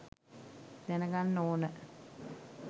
දැනගන්න ඕන